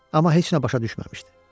Amma heç nə başa düşməmişdi.